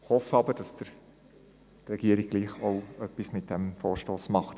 Wir hoffen aber, dass die Regierung trotzdem etwas mit diesem Vorstoss macht.